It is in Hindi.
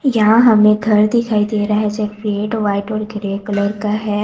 यहां हमें घर दिखाई दे रहा है जो रेड वाइट और ग्रे कलर का है।